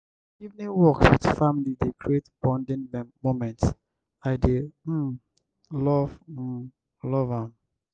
evening walks with family dey create bonding moments; i dey um love um love am.